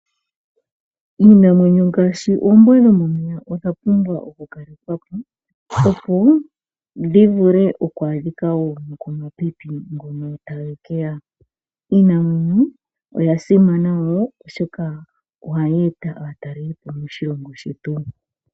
Iinamwenyo ngashi oombwa dhomomeya odha pumbwa oku kalekwako opo dhivule oku adhika wo nokomapipi ngono tagekeya, Iinamwenyo oya simana wo oshoka oha yeta atalelipo moshilongo shetu.